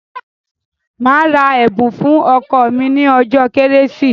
Màá ra ẹ̀bùn fún ọkọ mi ní ọjọ́ kérésì.